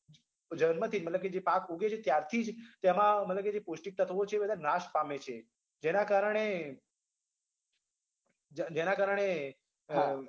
જન્મથી જ મતલબ કે જે પાક ઉગે છે ત્યારથી જ તેમાં મતલબ કે જે પૌષ્ટિક તત્વો છે તે બધા નાશ પામે છે જેના કારણે જેના કારણે અમ